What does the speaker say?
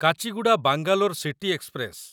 Kacheguda Bangalore city express